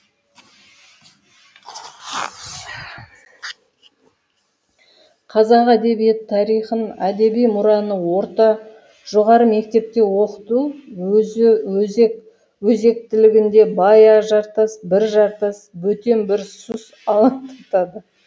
қазақ әдебиеті тарихын әдеби мұраны орта жоғары мектепте оқыту өзектілігінде бая жартас бір жартас бөтен бір сұс алаңдатады